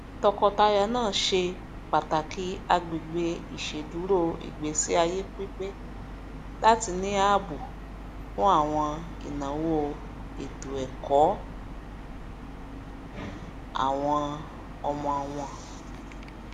tọkọtaya náà ṣe pàtàkì àgbègbè iṣeduro ìgbésíayé pípe láti ní ààbò fún àwọn ìnáwó ètòẹkọ àwọn ọmọ wọn